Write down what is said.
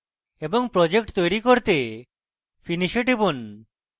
এবং project তৈরী করতে finish এ টিপুন